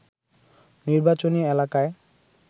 নির্বাচনী এলাকায়